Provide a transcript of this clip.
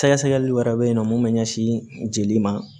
Sɛgɛsɛgɛli wɛrɛ bɛ yen nɔ mun bɛ ɲɛsin jeli ma